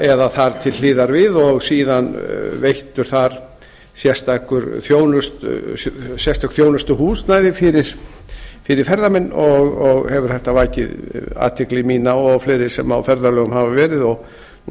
eða þar til hliðar við og síðan reist þar sérstök þjónustuhús fyrir ferðamenn og hefur þetta vakið athygli mína og fleiri sem á ferðalögum hafa verið og nú